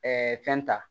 fɛn ta